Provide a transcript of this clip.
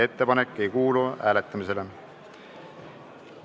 Ettepanek ei kuulu hääletamisele.